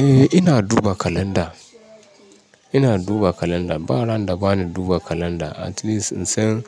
Eh ina duba kalanda, ina duba kalanda. Ba randa bani duba kalanda at least in san